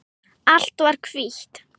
Allt var hvítt.